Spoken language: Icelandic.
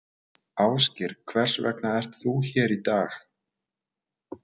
Ásgeir: Hvers vegna ert þú hér í dag?